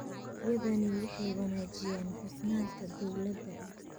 Adeegyadani waxay wanaajiyaan hufnaanta dawladda.